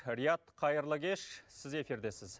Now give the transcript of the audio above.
риат қайырлы кеш сіз эфирдесіз